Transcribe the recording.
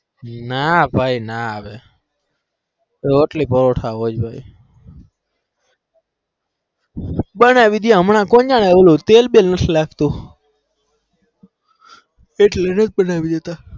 ના ભાઈ ના હવે તો રોટલી પરોઠા હમણાં બનાવી તી તેલ બેલ નથી હારું લાગતું